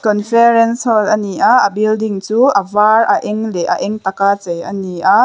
conference hall ani a a building chu a var a eng leh a eng tak a chei ani a.